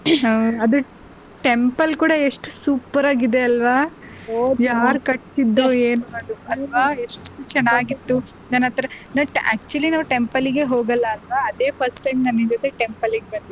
ಹ ಅದು temple ಕೂಡ ಎಷ್ಟ್ super ಆಗಿದೆ ಅಲ್ವಾ ಯಾರ್ ಕಟ್ಟ್ಸಿದ್ದೋ ಏನೋ ಅಲ್ವಾ ಎಷ್ಟು ಚೆನ್ನಾಗಿತ್ತು ನನ್ನತ್ರ but actually ನಾವು temple ಗೆ ಹೋಗಲ್ಲಾ ಅಲ್ವಾ ಅದೇ first time ನಾನ್ ನಿನ್ ಜೊತೆನೆ temple ಬಂದಿದ್ದು.